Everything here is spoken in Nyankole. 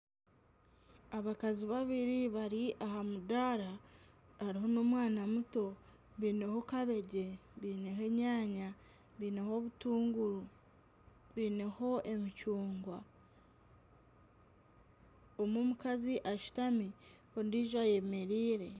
Abakazi babiri bari aha mudaara. Hariho n'omwana muto. Baineho kabegi, baineho enyaanya, baineho obutunguru, baineho emicungwa. Omwe omukazi ashutami, ondiijo ayemereire.